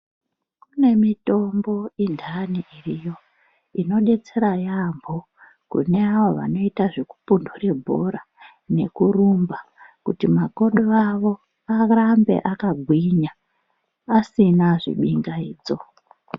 Kune mitombo indani iriyo inodetsera yambo kune avo vanophundura bhora nekurumba kuti makodo awo arambe akagwinya asina zvibingaidzo.